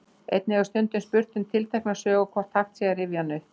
Einnig er stundum spurt um tiltekna sögu og hvort hægt sé að rifja hana upp.